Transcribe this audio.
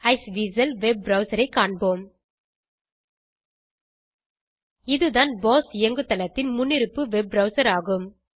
Iceweasel web Browserஐ காண்போம் இதுதான் போஸ் இயங்குதளத்தின் முன்னிருப்பு வெப் ப்ரவ்சர் ஆகும்